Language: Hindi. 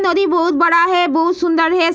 नदी बहुत बड़ा है बहुत सूंदर है।